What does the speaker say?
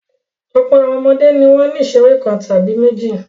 Ọ̀pọ̀ àwọn ọmọdé ni wọ́n ní ìṣeré kan tàbí méjì.